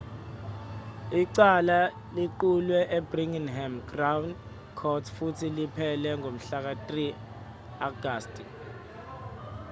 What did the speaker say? icala liqulwe e-birmingham crown court futhi liphele ngomhlaka-3 agasti